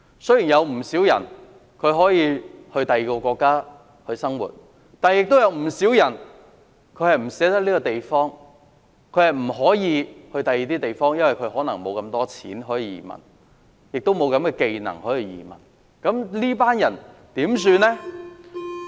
雖然有不少人可以移居外國生活，但亦有不少人不捨得這個地方，或者不能移居到其他地方，因為沒有足夠的錢，亦沒有移民要求的技能。